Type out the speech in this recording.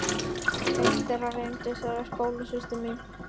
Eitt þeirra reyndist vera skólasystir mín.